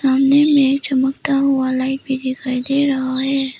सामने में चमकता हुआ लाइट भी दिखाई दे रहा है।